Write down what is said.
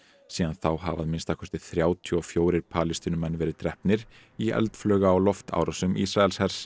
síðan þá hafa að minnsta kosti þrjátíu og fjórir Palestínumenn verið drepnir í eldflauga og loftárásum Ísraelshers